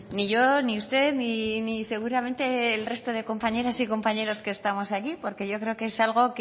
ni yo ni usted ni seguramente el resto de compañeras y compañeros que estamos aquí porque yo creo que es algo